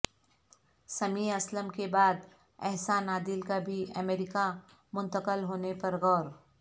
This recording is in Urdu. سمیع اسلم کے بعد احسان عادل کا بھی امریکہ منتقل ہونے پر غور